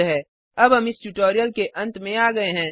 httpspoken tutorialorgNMEICT Intro अब हम इस ट्यूटोरियल के अंत में आ गये हैं